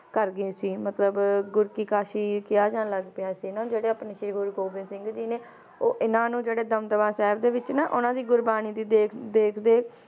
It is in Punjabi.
ਕਰ ਗਏ ਸੀ ਮਤਲਬ ਗੁਰ ਕੀ ਕਾਸ਼ੀ ਕਿਹਾ ਜਾਣ ਲੱਗ ਪਿਆ ਸੀ ਨਾ ਜਿਹੜੇ ਆਪਣੇ ਸ਼੍ਰੀ ਗੁਰੂ ਗੋਬਿੰਦ ਸਿੰਘ ਜੀ ਨੇ ਉਹ ਇਹਨਾਂ ਨੂੰ ਜਿਹੜੇ ਦਮਦਮਾ ਸਾਹਿਬ ਦੇ ਵਿਚ ਨਾ ਉਹਨਾਂ ਦੀ ਗੁਰਬਾਣੀ ਦੀ ਦੇਖ ਦੇਖਦੇ